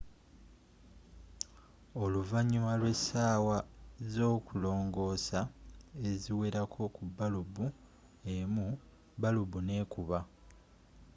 oluvannyuma lw'essaawa z'okulongoosa eziwerako ku balubu emu balubu n'ekuba